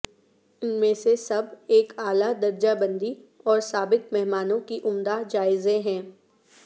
ان میں سے سب ایک اعلی درجہ بندی اور سابق مہمانوں کی عمدہ جائزے ہیں